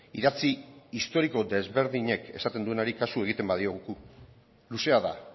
idatzi historiko desberdinek esaten duenari kasu egiten badiogu luzea da